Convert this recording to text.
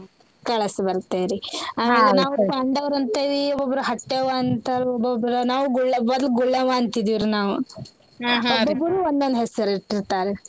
ಕಳಸ್ ಬರ್ತೇವ್ ರೀ ನಾವ್ ಪಾಂಡವ್ರ ಅಂತೇವಿ ಒಬ್ಬೊಬ್ರ ಹಟ್ಟೆವ್ವ ಅಂತಾರ್ರು ಒಬ್ಬೊಬ್ರ ನಾವ್ ಗುಳ್ಳವ್~ ಮೊದ್ಲ್ ಗುಳ್ಳವ್ವ ಅಂತಿದ್ವಿರೀ ನಾವ್ ಒಬ್ಬೊಬ್ಬರೂ ಒಂದೊಂದ್ ಹೆಸರಿಟ್ಟಿರ್ತಾರ್.